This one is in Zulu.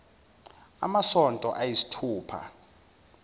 amasonto ay isithupha